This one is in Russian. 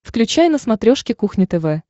включай на смотрешке кухня тв